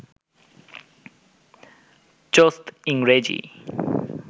চোস্ত ইংরেজি